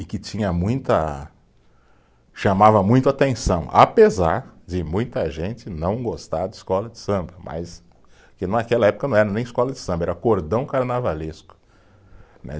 E que tinha muita, chamava muito a atenção, apesar de muita gente não gostar de escola de samba, mas, porque naquela época não era nem escola de samba, era cordão carnavalesco, né.